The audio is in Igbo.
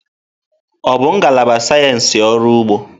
Ọ bụ ngalaba sayensị ọrụ ugbo?